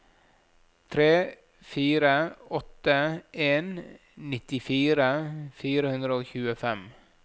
tre fire åtte en nittifire fire hundre og tjuefem